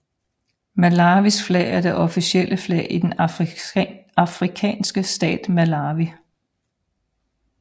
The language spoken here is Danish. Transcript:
Malawis flag er det officielle flag i den afrikanske stat Malawi